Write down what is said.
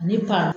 Ne ka